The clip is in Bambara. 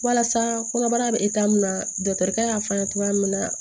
Walasa kɔnɔbara bɛ min na dɔkitɛri y'a fɔ a ye cogoya min na